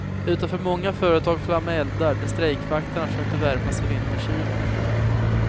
Utanför många företag flammade eldar där strejkvakterna försökte värma sig i vinterkylan.